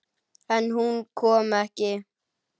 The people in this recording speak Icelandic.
En hún kom ekki.